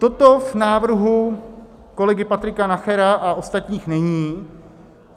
Toto v návrhu kolegy Patrika Nachera a ostatních není.